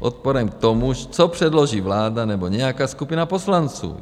odporem k tomu, co předloží vláda nebo nějaká skupina poslanců.